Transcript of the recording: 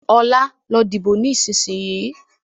Ọlá, lọ dìbò ni ìsinsìnyí!